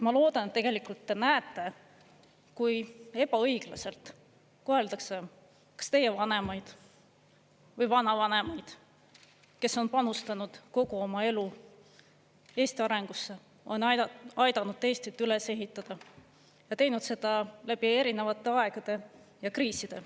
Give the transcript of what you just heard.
Ma loodan, et tegelikult te näete, kui ebaõiglaselt koheldakse kas teie vanemaid või vanavanemaid, kes on panustanud kogu oma elu Eesti arengusse, on aidanud Eestit üles ehitada ja teinud seda läbi erinevate aegade ja kriiside.